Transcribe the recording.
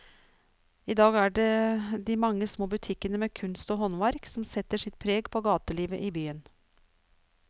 I dag er det de mange små butikkene med kunst og håndverk som setter sitt preg på gatelivet i byen.